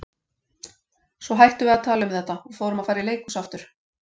Svo hættum við að tala um þetta og förum að fara í leikhús aftur.